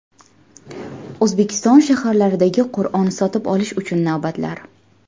O‘zbekiston shaharlaridagi Qur’on sotib olish uchun navbatlar.